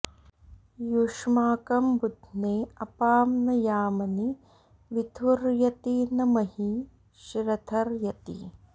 यु॒ष्माकं॑ बु॒ध्ने अ॒पां न याम॑नि विथु॒र्यति॒ न म॒ही श्र॑थ॒र्यति॑